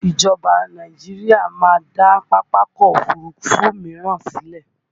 Ìjọba Nàìjíríà máa dá Pápákọ̀ Òfurufú míràn sílẹ̀